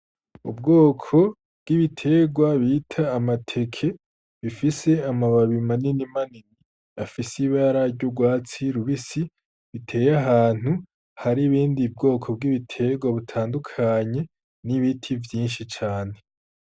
Ubwoko bw'ibitegwa bita amateke bifise amababi manini manini afise ibara ry'ugwatsi rubisi biteye ahantu hari ubundi bwoko bw'ibitegwa butandukanye n'ibiti vyinshi cane.